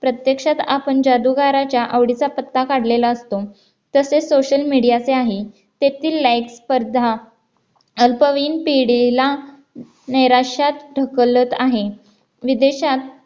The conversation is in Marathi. प्रत्यक्षात आपण जादूगाराच्या आवडीचा पत्ता काढलेला असतो तसेच social media चे आहे तेथील like स्पर्धा अल्पवयीन पिढी लांब निराशेत ढकलत आहे विदेशात